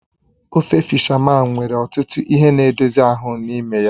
Ofe fishamán nwere ọtụtụ ihe na edozie ahụ n'ime ya.